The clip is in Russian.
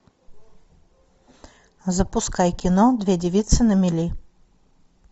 запускай кино две девицы на мели